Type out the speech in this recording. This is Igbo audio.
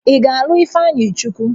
Ị ga-alụ Ifeanyịchukwu?